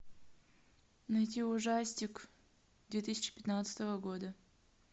найти ужастик две тысячи пятнадцатого года